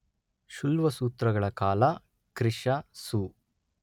ಶುಲ್ವಸೂತ್ರಗಳ ಕಾಲ ಕ್ರಿ.ಶ.ಸು.